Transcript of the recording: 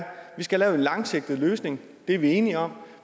vi skal have lavet en langsigtet løsning det er vi enige om